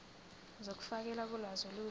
zokufakelwa kolwazi olusha